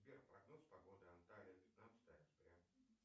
сбер прогноз погоды анталия пятнадцатое октября